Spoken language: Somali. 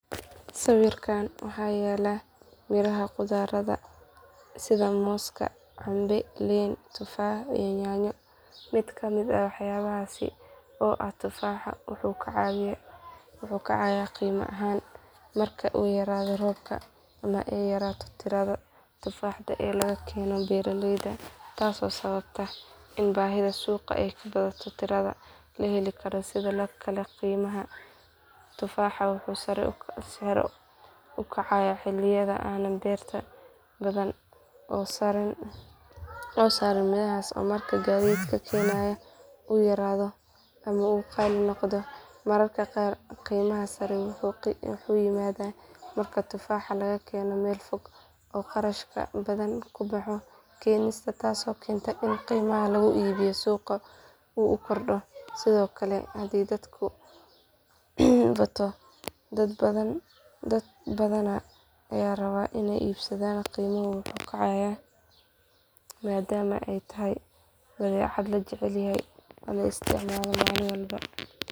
Sawirkaan waxaa yaal miraha khudradda sida moos canbe liin tufaax iyo yaanyo mid ka mid ah waxyaabahaasi oo ah tufaaxa wuxuu kacayaa qiimo ahaan marka ay yaraato roobka ama ay yaraato tirada tufaaxa ee laga keeno beeralayda taasoo sababta in baahida suuqa ay ka badato tirada la heli karo sidoo kale qiimaha tufaaxa wuxuu sare u kacaa xilliyada aanay beero badani soo saarin mirahaas ama marka gaadiidka keenaya uu yaraado ama uu qaali noqdo mararka qaar qiimaha sare wuxuu yimaadaa marka tufaaxa laga keeno meel fog oo kharash badan ku baxo keenistiisa taasoo keenta in qiimaha lagu iibiyo suuqa uu kordho sidoo kale haddii dalabku bato dad badanna ay rabaan inay iibsadaan qiimuhu wuu kacayaa maadaama ay tahay badeecad la jecel yahay oo la isticmaalo maalin walba.